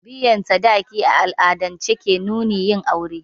Biyan sadaki a al'adance ke nunin yin aure